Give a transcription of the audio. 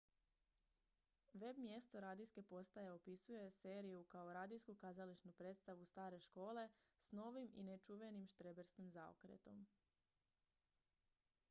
web-mjesto radijske postaje opisuje seriju kao radijsku kazališnu predstavu stare škole s novim i nečuvenim štreberskim zaokretom